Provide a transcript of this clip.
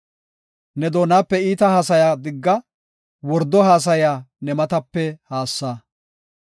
Ne doonape iita haasaya digga; wordo haasaya ne matape haassa.